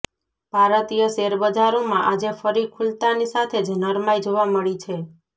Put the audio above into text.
ભારતીય શેરબજારોમાં આજે ફરી ખૂલતાની સાથે જ નરમાઇ જોવા મળી છે